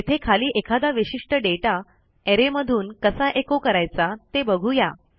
येथे खाली एखादा विशिष्ट दाता अरे मधून कसा एचो करायचा ते बघू या